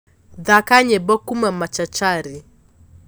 thaka nyĩmbo kũũma machachari